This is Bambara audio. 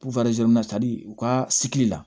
u ka la